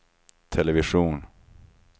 television